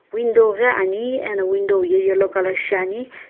window ghi ani eno window ye yellow color shiani.